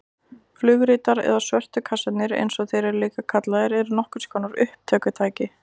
Flugritar eða svörtu kassarnir eins og þeir eru líka kallaðir eru nokkurs konar upptökutæki.